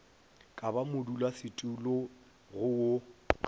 ka ba motlatšamodulasetulo go wo